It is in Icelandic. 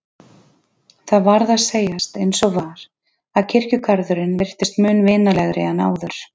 Það varð að segjast eins og var að kirkjugarðurinn virtist mun vinalegri en áður.